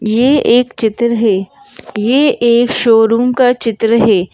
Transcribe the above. ये एक चित्र है ये एक शोरूम का चित्र है।